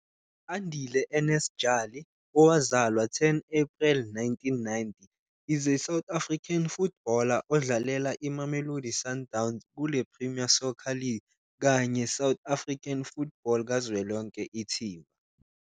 Andile Ernest Jali, owazalwa 10 April 1990, is a South African footballer odlalela iMamelodi Sundowns kule -Premier Soccer League kanye South African football kazwelonke ithimba.